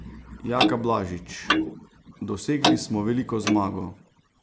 Jaka Blažič: "Dosegli smo veliko zmago.